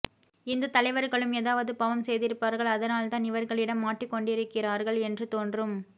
இந்த தலைவர்களும் எதாவது பாவம் செய்திருப்பார்கள் அதனால் தான் இவர்களிடம் மாட்டிக் கொண்டிருக்கிறார்கள் என்று தோன்றும்